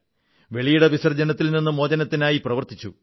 വെളിയിടവിസർജ്ജനത്തിൽ നിന്ന് മോചനത്തിനായി പ്രവർത്തിച്ചു